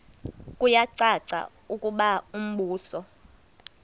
kuyacaca ukuba umbuso